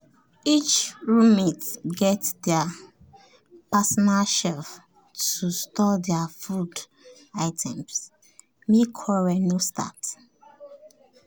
each roommate get their personal shelf to store their food items make quarrel no start